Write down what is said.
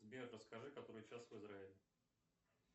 сбер расскажи который час в израиле